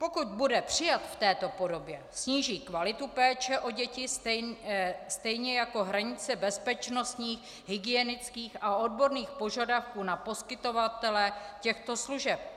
Pokud bude přijat v této podobě, sníží kvalitu péče o děti, stejně jako hranice bezpečnostních, hygienických a odborných požadavků na poskytovatele těchto služeb.